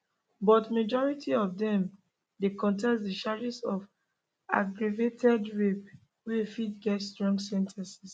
but majority of dem dey contest di charges of aggravated rape wey fit get strong sen ten ces